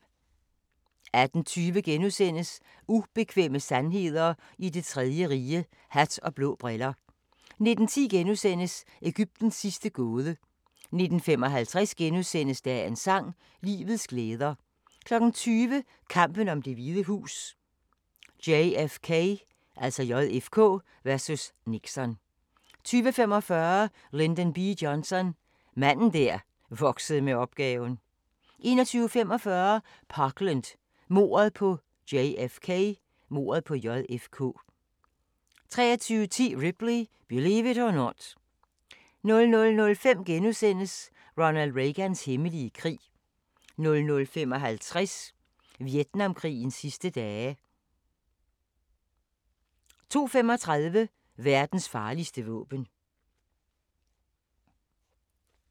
18:20: Ubekvemme sandheder i Det Tredje Rige – hat og blå briller * 19:10: Egyptens sidste gåde * 19:55: Dagens sang: Livets glæder * 20:00: Kampen om Det Hvide Hus: JFK vs. Nixon 20:45: Lyndon B. Johnson – manden der voksede med opgaven 21:45: Parkland – mordet på JFK 23:10: Ripley – Believe it or Not 00:05: Ronald Reagans hemmelige krig * 00:55: Vietnamkrigens sidste dage 02:35: Verdens farligste våben